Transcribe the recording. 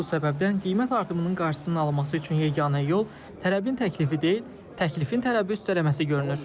Bu səbəbdən qiymət artımının qarşısının alınması üçün yeganə yol tələbin təklifi deyil, təklifin tələbi üstələməsi görünür.